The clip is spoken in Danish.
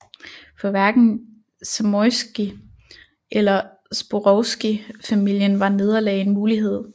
For hverken Zamoyski eller Zborowski familien var nederlag en mulighed